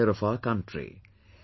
Farmers also suffered heavy losses